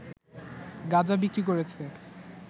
গাঁজা বিক্রি করেছে